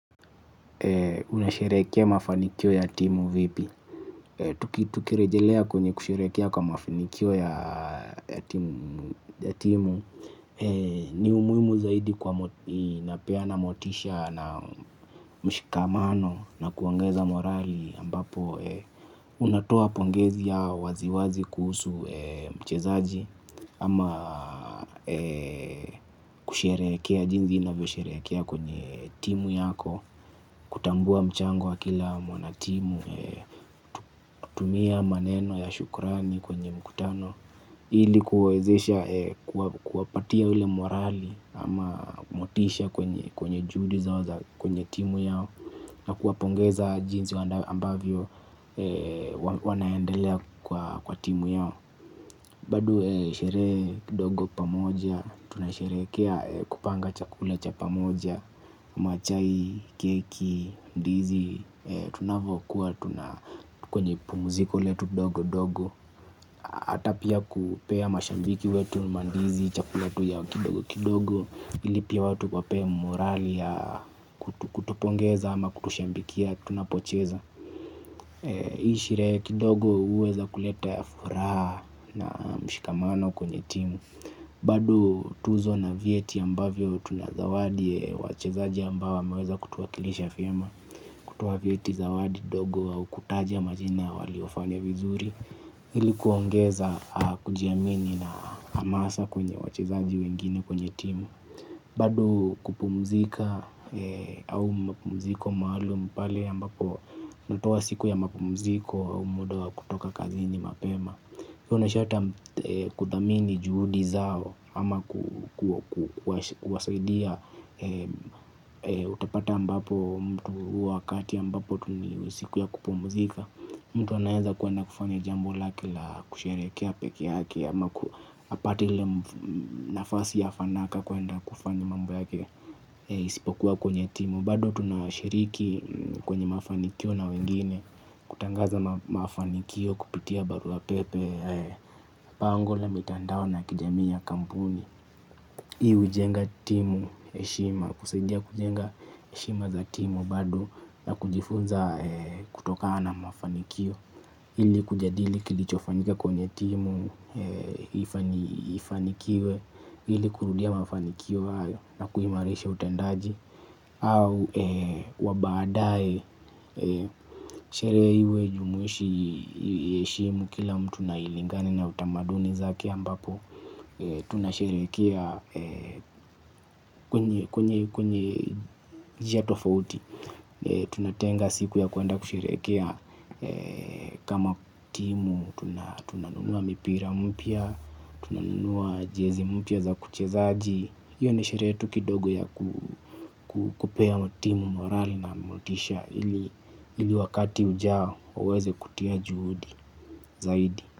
Unasherekea mafanikio ya timu vipi? Tukirejelea kwenye kushelekea kwa mafanikio ya timu. Ni umuhimu zaidi kwa inapea na motisha na mshikamano na kuongeza morali ambapo unatoa pongezi ya waziwazi kuhusu mchezaji. Ama kusherekea jinsi navyo sherekea kwenye timu yako. Kutambua mchango wa kila mwanatimu. Tumia maneno ya shukrani kwenye mkutano. Ili kuwezesha kuwapatia ule morali ama motisha kwenye juhudi zao za kwenye timu yao. Na kuwapongeza jinsi ambavyo wanaendelea kwa timu yao. Bado sherehe kidogo pamoja. Tunasherekea kupanga chakula cha pamoja ama chai, keki, ndizi. Tunavokuwa, tuna kwenye pumziko letu dogo dogo hata pia kupea mashabiki wetu Mandizi, chakula tu ya kidogo kidogo. Ili pia watu wapewe morali ya kutupongeza ama kutushabikia, tunapocheza hii sherehe kidogo uweza kuleta furaha. Na mshikamano kwenye timu. Bado tuzo na vyeti ambavyo tunazawadi wachezaji ambao wameweza kutuwakilisha vyema kutoa vyeti zawadi ndogo au kutaja majina waliofanya vizuri ilikuongeza kujiamini na hamasa kwenye wachezaji wengine kwenye timu bado kupumzika au mapumziko maalum pale ambako natowa siku ya mapumziko au muda wa kutoka kazi ni mapema hiyo na shata kuthamini juhudi zao ama kuwasaidia utapata ambapo mtu wakati ambapo tuniliusiku ya kupumzika. Mtu anaweza kwenda kufanya jambo lake la kusherekea peke yake. Ama kuapate ile nafasi ya fanaka kwenda kufanya mambo yake. Isipokuwa kwenye timu bado tunashiriki kwenye mafanikio na wengine. Kutangaza mafanikio kupitia barua pepe bango la mitandao na kijami ya kampuni. Hii ujenga timu heshima. Kusaidia kujenga heshima za timu bado na kujifunza kutokaa na mafanikio ili kujadili kilichofanyika kwenye timu. Ifanikiwe ili kurudia mafanikio hayo na kuimarisha utendaji. Au wabaadae. Sherehe iwe jumuishi heshimu kila mtu na ilingane na utamaduni zake ambapo tunasherekea. Kwenye njia tofauti. Tunatenga siku ya kwenda kusherehekea kama timu, tunanunua mipira mpya, tunanunua jezi mpya za kuchezaji. Iyo ni sherehe tu kidogo ya kukupea timu morali na motisha ili wakati ujao uweze kutia juhudi zaidi.